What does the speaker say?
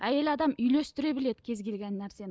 әйел адам үйлестіре біледі кез келген нәрсені